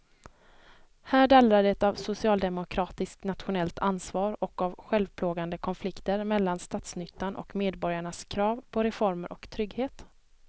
Här dallrar det av socialdemokratiskt nationellt ansvar och av självplågande konflikter mellan statsnyttan och medborgarnas krav på reformer och trygghet.